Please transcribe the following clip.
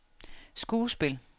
skuespil